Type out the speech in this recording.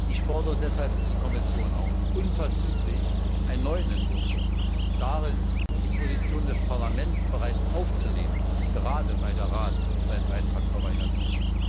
Ich fordere deshalb die Kommission auf, unverzüglich einen neuen Entwurf vorzulegen und darin die Position des Parlaments bereits aufzunehmen, gerade weil der Rat seinen Beitrag verweigert hat.